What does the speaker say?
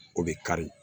O bɛ kari